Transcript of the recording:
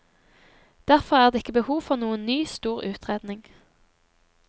Derfor er det ikke behov for noen ny, stor utredning.